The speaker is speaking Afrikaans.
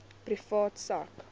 privaat sak